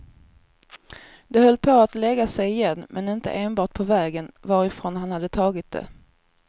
Det höll på att lägga sig igen men inte enbart på vägen varifrån han hade tagit det.